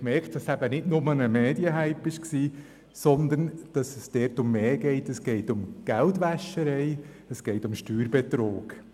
Man hat also realisiert, dass es nicht nur ein Medien-Hype war, sondern dass es dabei um mehr geht, nämlich um Geldwäscherei und um Steuerbetrug.